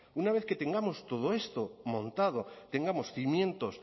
una vez que tengamos todo esto montado tengamos cimientos